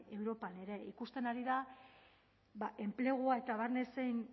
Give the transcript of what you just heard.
europan ere ikusten ari da enplegua eta barne zein